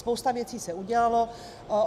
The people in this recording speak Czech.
Spousta věcí se udělalo.